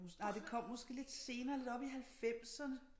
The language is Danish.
Nej det kom måske lidt senere lidt oppe i halvfemserne